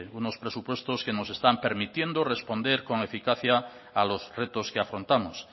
unos presupuestos que nos están permitiendo responder con eficacia a los retos que afrontamos